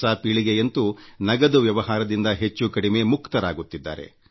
ನವ ಪೀಳಿಗೆಯಂತೂ ನಗದು ವ್ಯವಹಾರದಿಂದ ಹೆಚ್ಚುಕಡಿಮೆ ಮುಕ್ತರಾಗುತ್ತಿದ್ದಾರೆ